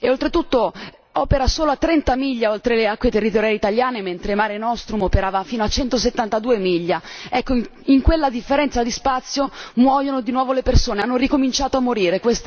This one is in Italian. Oltretutto, opera solo a 30 miglia oltre le acque territoriali italiane, mentre Mare Nostrum operava fino a 172 miglia. In quella differenza di spazio muoiono di nuovo le persone, hanno ricominciato a morire.